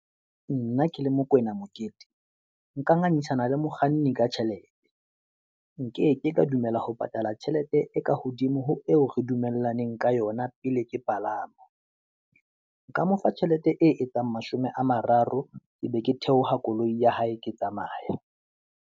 Nna ke le Mokoena Mokete, nka ngangisana le mokganni ka tjhelete, nkeke ka dumela ho patala tjhelete e ka hodimo ho eo re dumellaneng ka yona pele ke palama. Nka mo fa tjhelete e etsang mashome a mararo, ke be ke theoha koloi ya hae ke tsamaya.